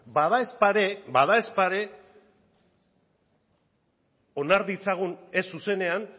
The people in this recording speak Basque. badaezpada ere onar ditzagun ez zuzenean